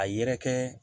A yɛrɛkɛ